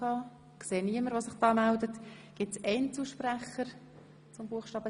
Wird das Wort von Einzelsprechern gewünscht?